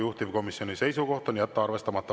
Juhtivkomisjoni seisukoht on jätta arvestamata.